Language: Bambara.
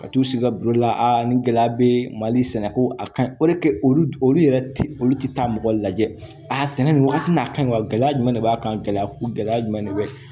Ka t'u sigi ka la ni gɛlɛya be mali sɛnɛ ko a kaɲi olu olu yɛrɛ ti olu ti taa mɔgɔ lajɛ a sɛnɛ nin wagati nin a ka ɲi wa gɛlɛya jumɛn de b'a kan gɛlɛya ko gɛlɛya jumɛn de be